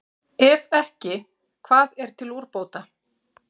Ef ekki, hvað er til úrbóta?